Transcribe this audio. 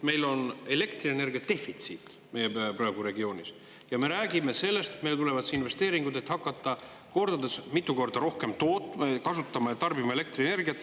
Meil on elektrienergia defitsiit praegu regioonis ja me räägime sellest, et meile tulevad investeeringud, et hakata kordades, mitu korda rohkem tootma ja tarbima elektrienergiat.